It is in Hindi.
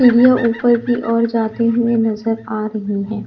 सीढ़ियां ऊपर की ओर जाते हुए नजर आ रही है।